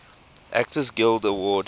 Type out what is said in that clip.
actors guild award